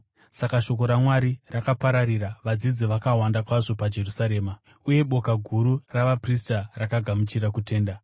Saka shoko raMwari rakapararira. Vadzidzi vakawanda kwazvo paJerusarema, uye boka guru ravaprista rakagamuchira kutenda.